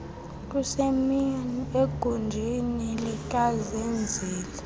kusemini egunjini likazenzile